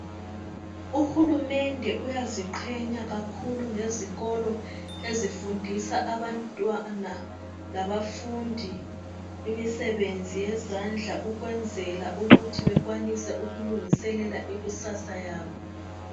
Uhulumende uyaziqhenya kakhulu ngezikolo ezifundisa abantwana labafundi imisebenzi yezandla ukwenzela ukuthi bekwanise ukulungiselela ikusasa yabo.